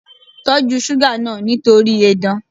Tọ́jú suga náà nítorí edan.